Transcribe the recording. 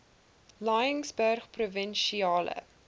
laingsburgprovinsiale